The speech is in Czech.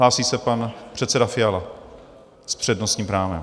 Hlásí se pan předseda Fiala s přednostním právem.